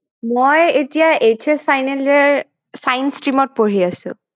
মই এতিয়া HSfinal year science stream ত পঢ়ি আছো